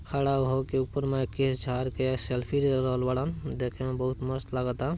खड़ा होके ऊपर में केश झाड़ के सेल्फी ले रहल बारन देखे मे बड़ा मस्त लगाता।